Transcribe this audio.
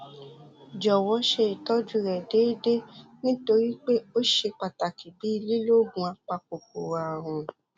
jọwọ ṣe ìtọjú rẹ déédéé nítorí pé ó ṣe pàtàkì bíi lílo oògùn apakòkòrò ààrùn